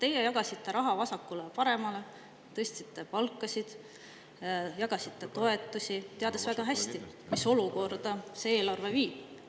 Teie jagasite raha vasakule-paremale, tõstsite palkasid, jagasite toetusi, teades väga hästi, mis olukorda see eelarve viib.